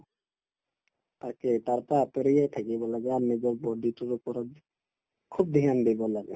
তাকে তাৰ পাই আতৰিয়ে থাকিব লাগে আৰু নিজৰ body টোৰ ওপৰত খুব dhyan দিব লাগে